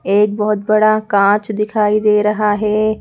एक बहुत बड़ा कांच दिखाई दे रहा है।